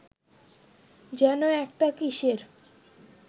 যেন একটা কিসের